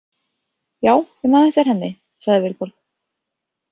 Já, ég man eftir henni, sagði Vilborg.